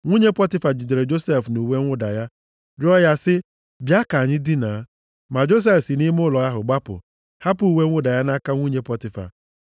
Nwunye Pọtifa jidere Josef nʼuwe mwụda ya, rịọọ ya sị ya, “Bịa ka anyị dinaa.” Ma Josef si nʼime ụlọ ahụ gbapụ, hapụ uwe mwụda ya nʼaka nwunye Pọtifa.